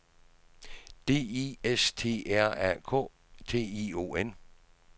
D I S T R A K T I O N